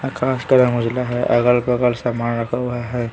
आकाश का रंग उजला है अगल-बगल सामान रखा हुआ है--